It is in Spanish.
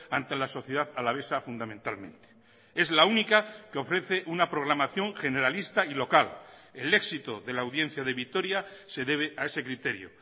ante la sociedad alavesa fundamentalmente es la única que ofrece una programación generalista y local el éxito de la audiencia de vitoria se debe a ese criterio